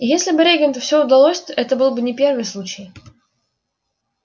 и если бы регенту все удалось это был бы не первый случай